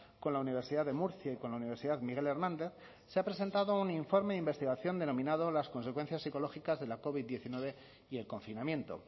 con la universidad de murcia y con la universidad miguel hernández se ha presentado un informe de investigación denominado las consecuencias ecológicas de la covid diecinueve y el confinamiento